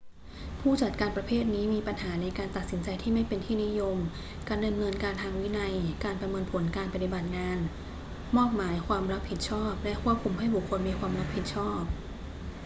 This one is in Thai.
ผู้จัดการประเภทนี้มีปัญหาในการตัดสินใจที่ไม่เป็นที่นิยม การดำเนินการทางวินัย การประเมินผลการปฏิบัติงาน มอบหมายความรับผิดชอบ และควบคุมให้บุคคลมีความรับผิดชอบ